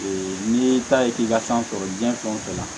Ee n'i ta ye k'i ka sanfɛ diɲɛ fɛn o fɛn na